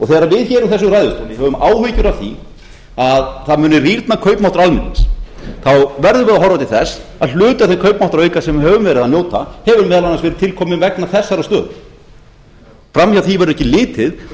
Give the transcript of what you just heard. þegar við hér úr þessum ræðustóli höfum áhyggjur af því að það muni rýrna kaupmáttur almennings verðum við að horfa til þess að hluti af þeim kaupmáttarauka sem við höfum verið að njóta hefur meðal annars verið til kominn vegna þessarar stöðu fram hjá því verður ekki litið